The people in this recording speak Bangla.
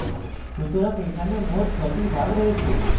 সুতরাং এখানে মোট 6 টি ভাগ রয়েছে